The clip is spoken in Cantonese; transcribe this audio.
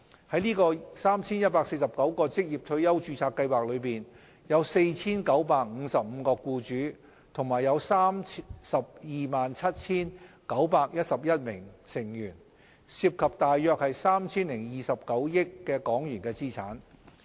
在這 3,149 個職業退休註冊計劃中，有 4,955 名僱主和 327,911 名成員，涉及約 3,029 億港元資產。